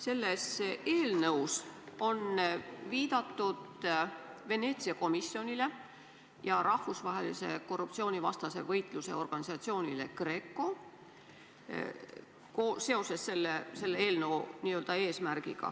Selle eelnõu seletuskirjas on eelnõu eesmärgist rääkides viidatud Veneetsia komisjonile ja rahvusvahelisele korruptsioonivastase võitluse organisatsioonile GRECO.